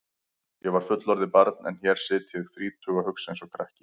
Ég var fullorðið barn en hér sit ég þrítug og hugsa einsog krakki.